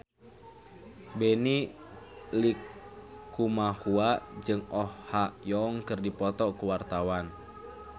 Benny Likumahua jeung Oh Ha Young keur dipoto ku wartawan